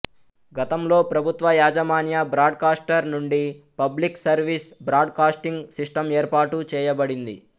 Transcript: గతంలో ప్రభుత్వయాజమాన్య బ్రాడ్కాస్టర్ నుండి public service broadcasting system ఏర్పాటు చేయబడింది